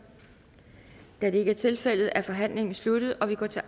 da det ikke er tilfældet er forhandlingen sluttet og vi går til